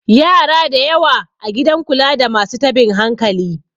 yara da yawa a gidan kula da masu tabin hankali